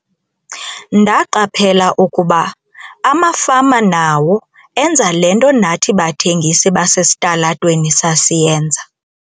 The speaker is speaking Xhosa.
"Ndaqaphela ukuba amafama nawo enza le nto nathi bathengisi basesitalatweni sasiyenza."